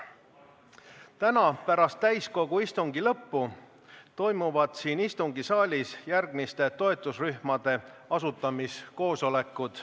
Täna pärast täiskogu istungi lõppu toimuvad siin istungisaalis järgmiste toetusrühmade asutamise koosolekud.